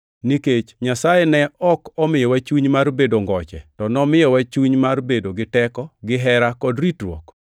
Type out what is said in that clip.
Nikech Nyasaye ne ok omiyowa chuny mar bedo ngoche, to nomiyowa chuny mar bedo gi teko, gihera kod ritruok.